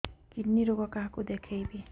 kidney ରୋଗ କାହାକୁ ଦେଖେଇବି